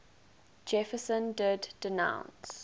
jefferson did denounce